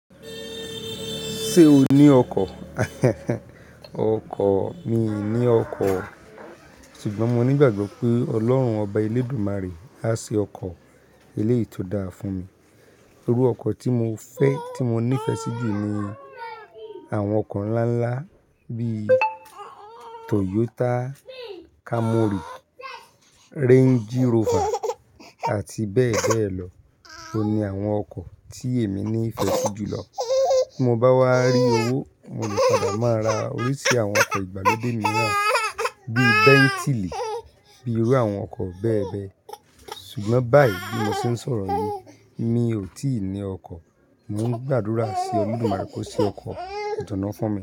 Ṣé o ní ọkọ̀? Ọkọ̀, mi ò ní ọkọ̀. Ṣùgbọ́n mo nígbàgbọ́ pé Ọlọ́run Ọba Elédùmarè á ṣe ọkọ̀ eléyìí tó dáa fún mi. Irú ọkọ̀ tí mo fẹ́, tí mo nífẹ̀ẹ́ sí jù ni àwọn ọkọ̀ ńlá ńlá bí i Toyota Camry, Range Rover àti bẹ́ẹ̀ bẹ́ẹ̀ lọ. Ó ní àwọn ọkọ̀ tí èmi ní ìfẹ́ sí jùlọ. Tí mo bá wá rí owó, mo lè padà máa ra oríṣi àwọn ọkọ̀ ìgbàlódé mìíràn bí i Bentley, bí irú àwọn ọkọ̀ bẹ́ẹ̀ bẹ́ẹ̀. Ṣùgbọ́n báyìí bí mo ṣe ń sọ̀rọ̀ yín, mi ò tí ì ní ọkọ̀. Mo ń gbàdúrà sí Olódùmarè kó ṣe ọkọ̀ ìjọ̀ná fún mi.